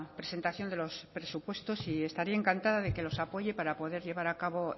presentación de los presupuestos y estaría encantada de que los apoye para poder llevar a cabo